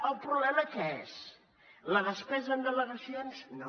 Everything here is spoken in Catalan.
el problema què és la despesa en delegacions no